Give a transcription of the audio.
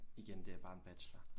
Igen det er bare en bachelor